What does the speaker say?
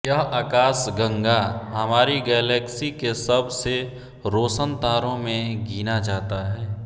यह आकाशगंगा हमारी गैलेक्सी के सब से रोशन तारों में गिना जाता है